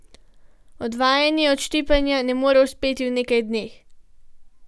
Odvajanje od ščipanja ne more uspeti v nekaj dneh.